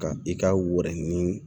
Ka i ka wɛrili